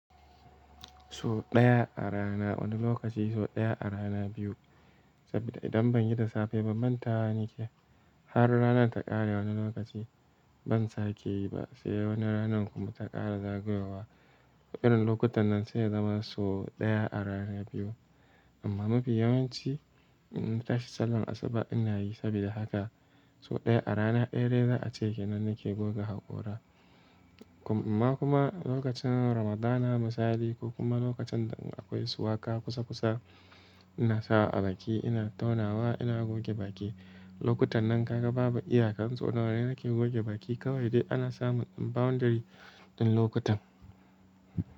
So ɗaya a rana wani lokaci so ɗaya a rana biyu sabida idan ban yi da safe ba mantawa nike. Har ranar ta ƙare wani lokaci ban sake yi ba sai wani ranan kuma ta ƙara zagayowa. Irin lokutan nan sai ya zama so ɗaya a rana biyu. Amma mafi yawanci in na tashi sallan asuba ina yi sabida haka so ɗaya a rana ɗaya dai za a ce ke nan nake goge haƙora. Kuma lokacin Ramadana misali ko kuma lokacin da in akwai suwaka kusa kusa ina sawa a baki ina taunawa ina goge baki. Lokutan nan ka ga babu iyaka sau nawane nake goge baki kawai dai ana samun boundary ɗin lokutan.